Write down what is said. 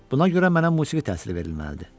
Buna görə mənə musiqi təhsili verilməlidir.